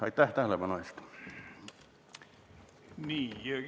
Aitäh tähelepanu eest!